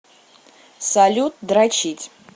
салют дрочить